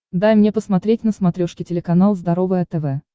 дай мне посмотреть на смотрешке телеканал здоровое тв